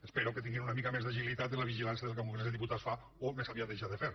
espero que tinguin una mica més d’agilitat en la vigilància del que el congrés dels diputats fa o més aviat deixa de fer